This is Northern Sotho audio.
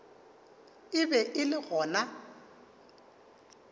e be e le gona